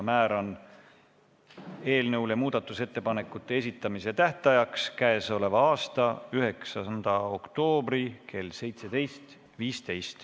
Määran muudatusettepanekute esitamise tähtajaks k.a 9. oktoobri kell 17.15.